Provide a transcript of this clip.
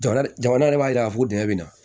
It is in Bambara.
Jamana jamana yɛrɛ b'a jira k'a fɔ dingɛ bɛ na